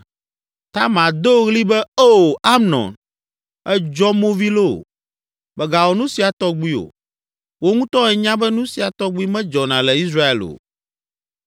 Tamar do ɣli be, “Oo, Amnon, èdzɔ movi loo! Mègawɔ nu sia tɔgbi o. Wò ŋutɔ ènya be nu sia tɔgbi medzɔna le Israel o.